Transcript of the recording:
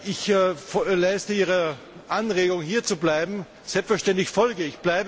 Ich leiste Ihrer Anregung hierzubleiben selbstverständlich Folge.